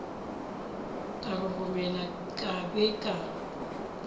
ka roromela ka be ka